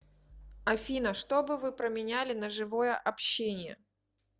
афина что бы вы променяли на живое общение